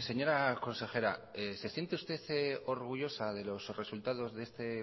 señora consejera se siente usted orgullosa de los resultados de este